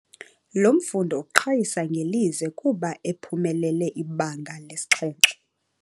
Lo mfundi uqhayisa ngelize kuba ephumelele ibanga lesixhenxe.